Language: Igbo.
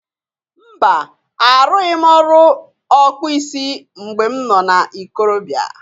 Mba! Arụghị m ọrụ ọkpụ isi mgbe m nọ na ikorobịa.